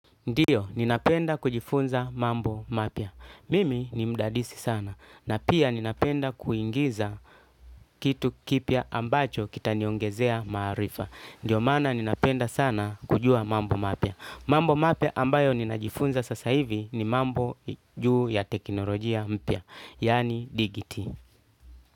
Ndio, ninapenda kujifunza mambo mapya. Mimi ni mdadisi sana. Na pia ninapenda kuingiza kitu kipya ambacho kita niongezea maarifa. Ndio maana ninapenda sana kujua mambo mapya. Mambo mapya ambayo ninajifunza sasa hivi ni mambo juu ya teknolojia mpya. Yaani digiti.